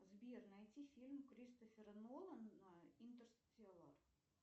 сбер найти фильм кристофера нолана интерстеллар